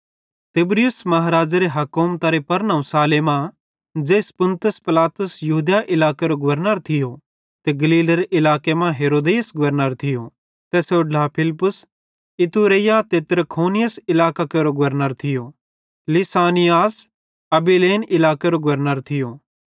तिबिरियुस महाराज़ेरे हुकुमतरे परनोहूँ साले मां ज़ेइस पुन्तियुस पिलातुस यहूदिया इलाकेरो गवर्नर थियो ते गलीलेरे इलाके मां हेरोदेस गवर्नर थियो तैसेरो ढ्ला फिलिप्पुस इतूरैया ते त्रखोनीतिस इलाकां केरो गवर्नर थियो लिसानियास अबिलेन इलाकेरो गवर्नर थियो